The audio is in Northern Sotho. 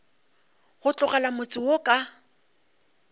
go tlogela motse wo ka